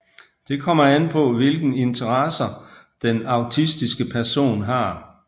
Det kommer an på hvilke interesser den autistiske person har